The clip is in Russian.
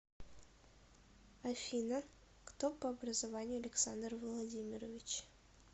афина кто по образованию александр владимирович